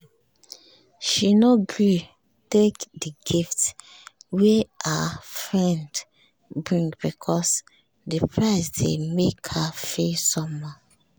she no gree take the gift wey her friend bring because the price dey make her feel somehow